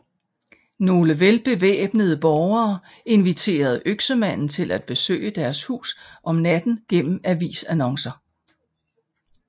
Nogle velbevæbnede borgere inviterede Øksemanden til besøge deres hus om natten gennem avisannoncer